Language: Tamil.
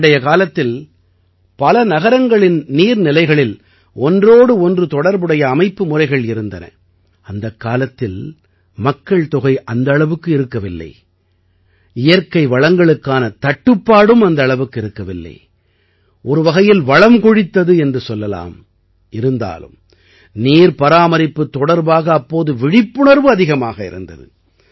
பண்டைய காலத்தில் பல நகரங்களின் நீர் நிலைகளில் ஒன்றோடு ஒன்று தொடர்புடைய அமைப்பு முறைகள் இருந்தன அந்த காலத்தில் மக்கள்தொகை அந்த அளவுக்கு இருக்கவில்லை இயற்கை வளங்களுக்கான தட்டுப்பாடும் அந்த அளவுக்கு இருக்கவில்லை ஒரு வகையில் வளம் கொழித்தது எனலாம் இருந்தாலும் நீர் பராமரிப்பு தொடர்பாக அப்போது விழிப்புணர்வு அதிகமாக இருந்தது